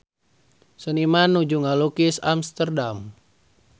Seniman nuju ngalukis Amsterdam